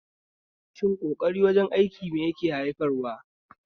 Shin ƙoƙari wajen aiki mai yake haifarwa?